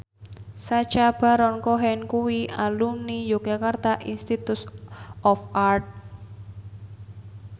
Sacha Baron Cohen kuwi alumni Yogyakarta Institute of Art